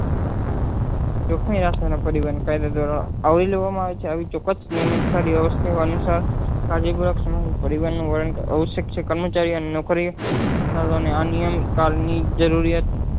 આવરી લેવા માં આવે છે આવી અનુસાર કાળ ની જરૂરિયાત